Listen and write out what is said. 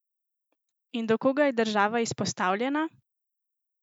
In do koga je država izpostavljena?